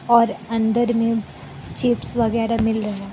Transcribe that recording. और अंदर में चिप्स वगैरा मिल रहा है।